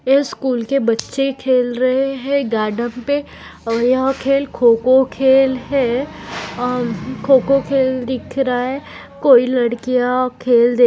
यह स्कूल के बच्चे खेल रहे है गार्डन पे और यहा खेल खो-खो खेल है अं खो-खो खेल दिख रहा कोई लड़किया खेल दे --